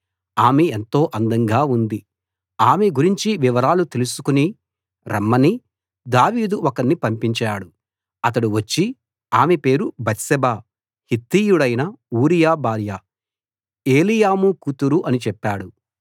ఆమె ఎంతో అందంగా ఉంది ఆమె గురించి వివరాలు తెలుసుకు రమ్మని దావీదు ఒకణ్ణి పంపించాడు అతడు వచ్చి ఆమె పేరు బత్షెబ హిత్తీయుడైన ఊరియా భార్య ఏలీయాము కూతురు అని చెప్పాడు